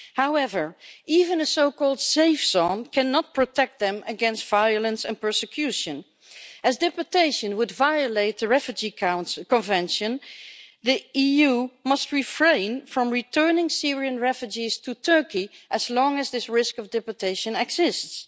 However, even a so-called safe zone cannot protect them against violence and persecution, as deportation would violate the Refugee Convention the EU must refrain from returning Syrian refugees to Turkey as long as this risk of deportation exists.